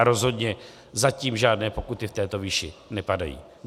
A rozhodně zatím žádné pokuty v této výši nepadají.